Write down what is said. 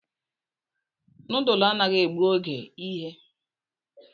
Noodlu anaghị egbu oge ime